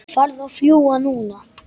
Farðu að fljúga, núna